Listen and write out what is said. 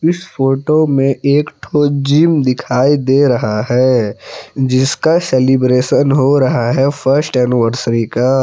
Photo में एक ठो जिम दिखाई दे रहा है जिसका सेलिब्रेशन हो रहा है फर्स्ट एनिवर्सरी का।